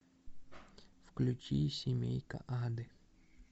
включи семейка ады